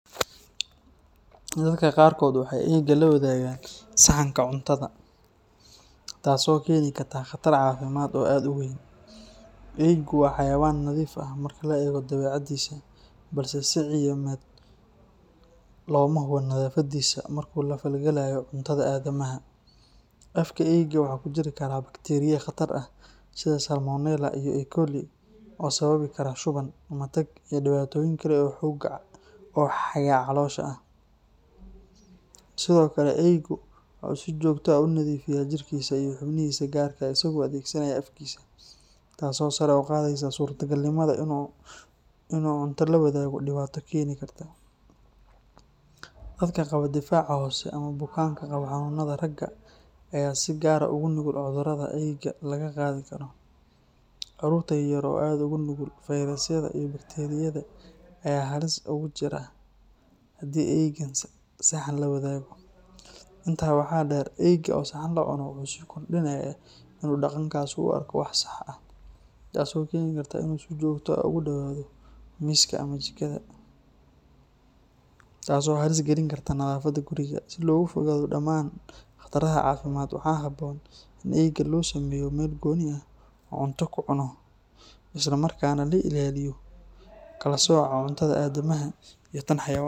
Dadka qaarkood waxay eyga la wadaagaan saxanka cuntada, taasoo keeni karta khatar caafimaad oo aad u weyn. Eygu waa xayawaan nadiif ah marka la eego dabeecadiisa, balse si cilmiyeed looma hubo nadaafadiisa marka uu la falgalayo cuntada aadamaha. Afka eyga waxa ku jiri kara bakteeriya khatar ah sida Salmonella iyo E.coli oo sababi kara shuban, matag, iyo dhibaatooyin kale oo xagga caloosha ah. Sidoo kale, eyga waxa uu si joogto ah u nadiifiyaa jirkiisa iyo xubnihiisa gaarka ah isagoo adeegsanaya afkiisa, taasoo sare u qaadaysa suurtagalnimada inuu cunto la wadaago dhibaato keeni karta. Dadka qaba difaac hoose ama bukaanka qaba xanuunnada raaga ayaa si gaar ah ugu nugul cudurrada eyga laga qaadi karo. Carruurta yar yar oo aad ugu nugul fayrasyada iyo bakteeriyada ayaa halis gaar ah ku jira haddii eyga saxan la wadaago. Intaa waxaa dheer, eyga oo saxan la cuno wuxuu sii kordhinayaa in uu dhaqankaasi u arko wax sax ah, taasoo keeni karta in uu si joogto ah ugu dhowaado miiska ama jikada, taas oo halis gelin karta nadaafadda guriga. Si looga fogaado dhammaan khatarahan caafimaad, waxaa habboon in eyga loo sameeyo meel gooni ah oo uu cunto ku cuno, isla markaana la ilaaliyo kala sooca cuntada aadamaha iyo tan xayawaanka.